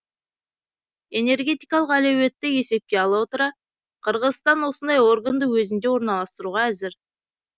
энергетикалық әлеуетті есепке ала отыра қырғызстан осындай органды өзінде орналастыруға әзір